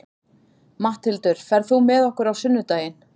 Matthildur, ferð þú með okkur á sunnudaginn?